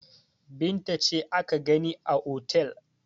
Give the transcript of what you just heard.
Binta ce aka gani a otel.